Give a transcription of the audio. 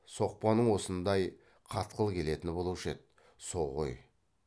соқпаның осындай қатқыл келетіні болушы еді со ғой